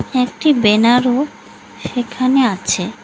একটি ব্যানার -ও সেখানে আছে।